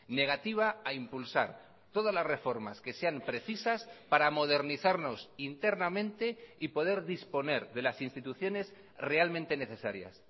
negativa a impulsar todas las reformas que sean precisas para modernizarnos internamente y poder disponer de las instituciones realmente necesarias